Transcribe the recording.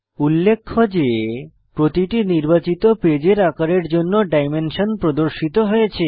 উল্লেখ্য যে প্রতিটি নির্বাচিত পেজের আকারের জন্য ডাইমেনশন প্রদর্শিত হয়েছে